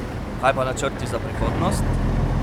Kaj pa načrti za prihodnost?